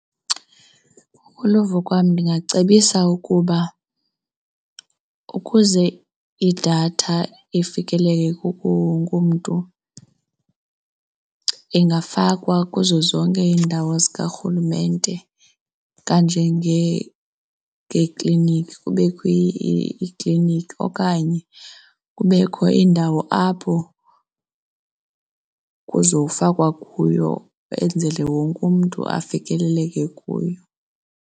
Ngokoluvo kwam ndingacebisa ukuba ukuze idatha ifikeleleke kuwo wonke umntu, ingafakwa kuzo zonke iindawo zikarhulumente ngeekliniki, kubekho iikliniki. Okanye kubekho indawo apho kuzofakwa kuyo enzele wonke umntu afikeleleke kuyo.